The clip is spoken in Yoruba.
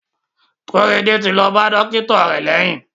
Korede ti lo ba dókítà eleyiin.